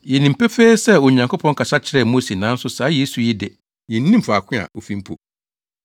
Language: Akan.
Yenim pefee sɛ Onyankopɔn kasa kyerɛɛ Mose nanso saa Yesu yi de, yennim faako a ofi mpo!”